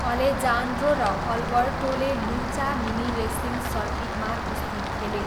Alejandro र अल्बर्टोले Lucha mini wrestling सर्किटमा कुस्ती खेले।